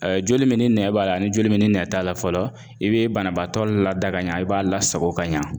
joli min ni nɛn b'a la , ani joli min ni nɛn t'a la fɔlɔ, i bɛ banabaatɔ lada ka ɲɛ, i b'a lasago ka ɲa.